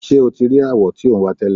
Ṣé o ti rí awọ tí ò ń wá tẹ́lẹ̀?